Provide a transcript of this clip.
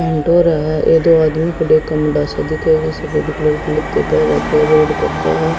Paint हो रहा ये दो आदमी आदमी रोड पक्का है।